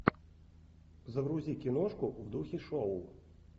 загрузи киношку в духе шоу